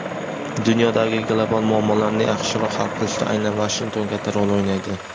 dunyodagi global muammolarni yaxshiroq hal qilishda aynan Vashington katta rol o‘ynaydi.